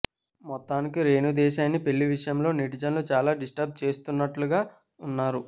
మొత్తానికి రేణు దేశాయ్ను పెళ్లి విషయంలో నెటిజన్స్ చాలా డిస్ట్రబ్ చేస్తున్నట్లుగా ఉన్నారు